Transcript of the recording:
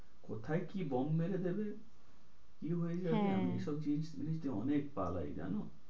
কোথায় কি বোম মেরে দেবে? কি হয়ে যাবে? হ্যাঁ এই সব জিনিসে অনেক পালায় জানো?